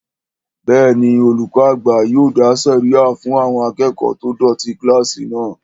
Bẹ́ẹ̀ni, olùkọ́ àgbà yóò dá sẹ̀ríyà fún àwọn akẹ́kọ̀ọ́ tó dọ̀tí kílásì náà